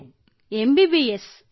Krittika M B B S